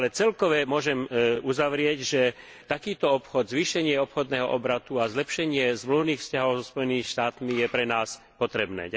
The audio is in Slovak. Avšak celkove môžem uzavrieť, že takýto obchod, zvýšenie obchodného obratu a zlepšenie zmluvných vzťahov so Spojenými štátmi je pre nás potrebné.